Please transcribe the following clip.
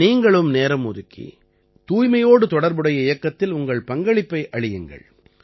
நீங்களும் நேரம் ஒதுக்கி தூய்மையோடு தொடர்புடைய இயக்கத்தில் உங்கள் பங்களிப்பை அளியுங்கள்